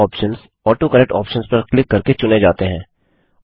यह options autocorrect options पर click करके चुने जाते हैं